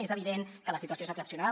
és evident que la situació és excepcional